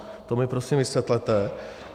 To mi prosím vysvětlete.